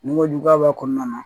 Ni kojuguya b'a kɔnɔna na